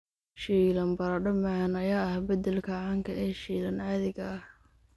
Shiilan baradho macaan ayaa ah beddelka caanka ah ee shiilan caadiga ah.